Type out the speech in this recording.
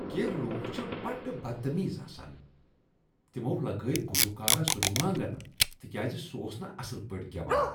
کینٛہہ لوک چھ بڈٕ بد تمیز آسان۔ تمو لگٲوۍ گلوکارس روانگن تکیاز سہ اوس نہٕ اصٕل پٲٹھۍ گیوان۔